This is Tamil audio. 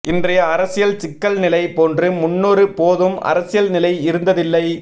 இன்றைய அரசியல் சிக்கல் நிலை போன்று முன்னொரு போதும் அரசியல் நிலை இருந்ததில்லை